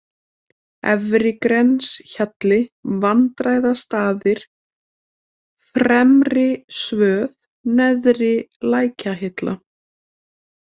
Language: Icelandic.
Efri-Grenshjalli, Vandræðastaðir, Fremri-Svöð, Neðri-Lækjahilla